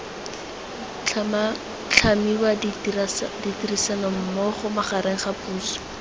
tlhamiwa ditirisanommogo magareng ga puso